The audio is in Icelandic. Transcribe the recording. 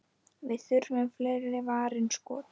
Við þurfum fleiri varin skot.